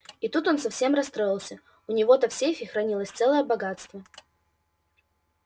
и тут он совсем расстроился у него-то в сейфе хранилось целое богатство